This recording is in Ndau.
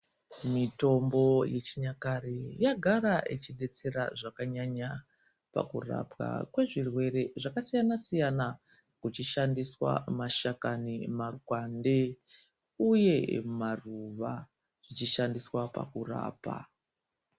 Mitombo yechinyakare yagara yechidetsera zvakanyanya pakurapwa kwezvirwere zvakasiyana siyana kuchishandiswa mashakani mapande uye maruva zvichishandiswa pakurapa.